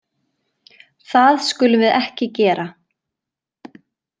Það skulum við ekki gera.